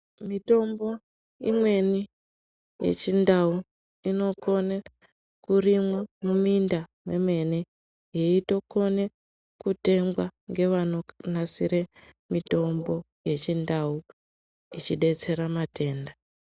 Mitombo imweni yechindau inokone kurimwa muminda mwemene, yeitokone kutengwa ngevanonasire mitombo yechindau ichidetsera matenda.